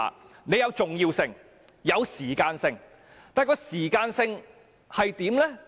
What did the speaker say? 事情有重要性，亦有時間性，時間性是怎樣？